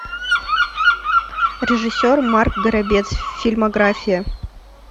режиссер марк горобец фильмография